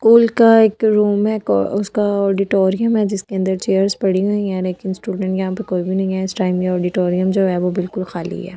School का एक room है उसका ऑडिटोरियम है जिसके अंदर चेयर्स पड़ी हुई है लेकिन स्टूडेंट यहां पे कोई भी नहीं है इस टाइम ये ऑडिटोरियम जो है वो बिल्कुल खाली है।